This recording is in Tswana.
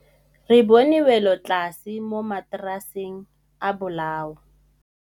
Re bone wêlôtlasê mo mataraseng a bolaô.